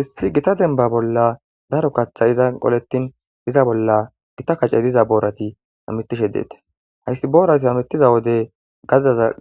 Esi gita demiba bola daro kaxay ezan qoletn eza bola gita kache diza borati amutishe detes hasi borazi hamutiza wode